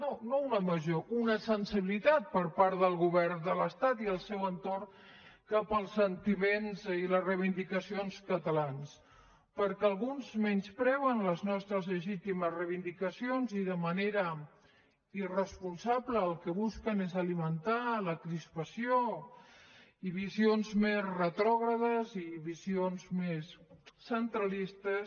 no no una major una sensibilitat per part del govern de l’estat i el seu entorn cap als sentiments i les reivindicacions catalans perquè alguns menyspreen les nostres legitimes reivindicacions i de manera irresponsable el que busquen és alimentar la crispació i visions més retrògrades i visions més centralistes